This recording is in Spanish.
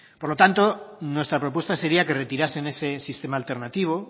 por lo tanto nuestra propuesta seria que retirasen ese sistema alternativo